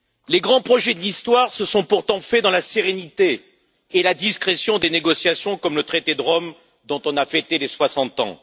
Les grands projets de l'histoire se sont pourtant faits dans la sérénité et la discrétion des négociations, comme le traité de Rome, dont on a fêté les 60 ans.